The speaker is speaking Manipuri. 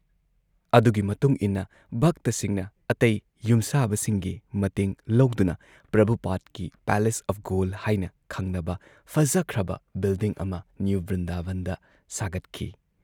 ꯑꯗꯨꯒꯤ ꯃꯇꯨꯨꯡꯏꯟꯅ ꯚꯛꯇꯁꯤꯡꯅ ꯑꯇꯩ ꯌꯨꯝꯁꯥꯕꯁꯤꯡꯒꯤ ꯃꯇꯦꯡ ꯂꯧꯗꯅ ꯄ꯭ꯔꯚꯨꯄꯥꯗꯀꯤ ꯄꯦꯂꯦꯁ ꯑꯣꯐ ꯒꯣꯜꯗ ꯍꯥꯏꯅ ꯈꯪꯅꯕ ꯐꯖꯈ꯭ꯔꯕ ꯕꯤꯜꯗꯤꯡ ꯑꯃ ꯅ꯭ꯌꯨ ꯕ꯭ꯔꯤꯟꯗꯥꯕꯟꯗ ꯁꯥꯒꯠꯈꯤ ꯫